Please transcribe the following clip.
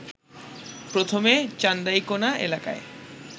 প্রথমে চান্দাইকোনা এলাকায়